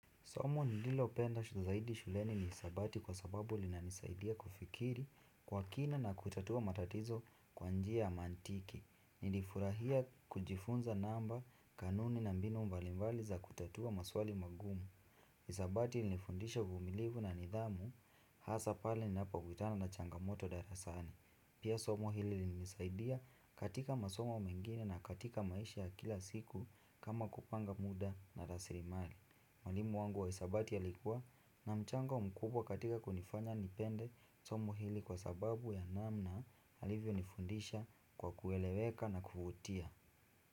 Somo nililopenda zaidi shuleni ni hesabati kwa sababu linanisaidia kufikiri kwa kina na kuitatua matatizo kwa njia mantiki. Nilifurahia kujifunza namba kanuni na mbinu mbalimbali za kutatua maswali magumu. Hesabati ilinifundisha uvumilivu na nidhamu, hasaa pale ninapokutana na changamoto darasani. Pia somo hili lilinisaidia katika masomo mengine na katika maisha ya kila siku kama kupanga muda na rasilimali. Mwalimu wangu wa hesabati alikuwa na mchango mkubwa katika kunifanya nipende somo hili kwa sababu ya namna alivyo nifundisha kwa kueleweka na kuvutia.